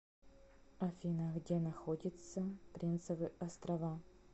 афина где находится принцевы острова